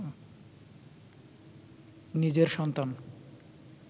নিজের সন্তান